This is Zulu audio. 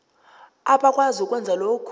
abakwazi ukwenza lokhu